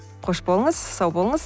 қош болыңыз сау болыңыз